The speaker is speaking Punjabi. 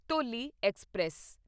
ਧੌਲੀ ਐਕਸਪ੍ਰੈਸ